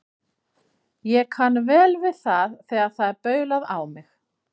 Ég kann vel við það þegar það er baulað á mig.